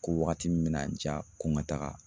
Ko wagati min mina n diya ko n ka taga